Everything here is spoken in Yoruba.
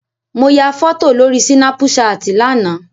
Mo ya fọ́tò lórí Sínápú ṣaàtì lánàá.